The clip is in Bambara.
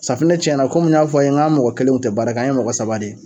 Safunɛ tiɲɛna komi n y'a fɔ a' ye ŋ'an mɔgɔ kelen ŋun te baara kɛ, an ye mɔgɔ saba de ye.